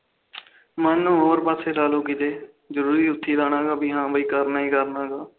ਮਨ ਨੂੰ ਹੋਰ ਪਾਸੇ ਲਾਲੋ ਕਿਤੋ ਜਰੂਰੀ ਉਥੇ ਲਾਣਾ ਹਾ ਬਈ ਕਰਨਾ ਕਰਨਾ